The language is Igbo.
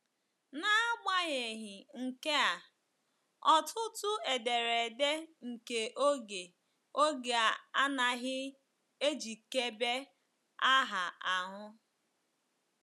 N’agbanyeghị nke a, ọtụtụ ederede nke oge oge a anaghị ejikebe aha ahụ.